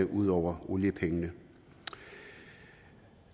ud over oliepengene